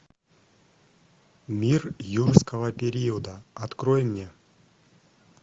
мир юрского периода открой мне